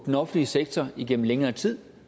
den offentlige sektor igennem længere tid